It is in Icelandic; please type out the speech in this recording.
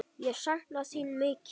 Ég sakna þín mikið.